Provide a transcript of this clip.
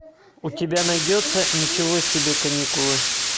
у тебя найдется ничего себе каникулы